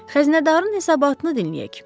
Xəzinədarın hesabatını dinləyək.